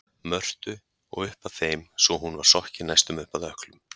Mörtu og upp að þeim svo hún var sokkin næstum upp að ökklum.